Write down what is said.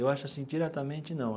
Eu acho assim, diretamente, não.